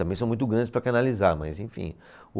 Também são muito grandes para canalizar, mas enfim. O